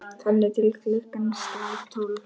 Þangað til klukkan slær tólf.